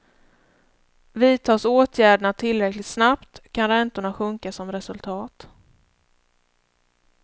Vidtas åtgärderna tillräckligt snabbt kan räntorna sjunka som resultat.